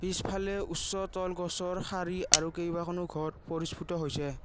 পিছফালে উচ্চ তল গছৰ শাৰী আৰু কেইবাখনো ঘৰ পৰিস্পূত হৈছে।